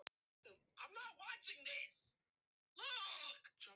Konungur vísaði Christian til sætis við hlið hans.